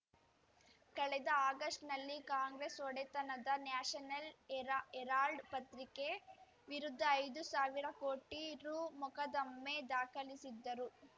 ಕಳೆದ ಆಗಸ್ಟ್‌ನಲ್ಲಿ ಕಾಂಗ್ರೆಸ್‌ ಒಡೆತನದ ನ್ಯಾಷನಲ್‌ ಎರಾ ಹೆರಾಲ್ಡ್‌ ಪತ್ರಿಕೆ ವಿರುದ್ಧ ಐದು ಸಾವಿರ ಕೋಟಿ ರು ಮೊಕದ್ದಮೆ ದಾಖಲಿಸಿದ್ದರು